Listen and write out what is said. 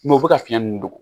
u bɛ ka fiɲɛ ninnu dogo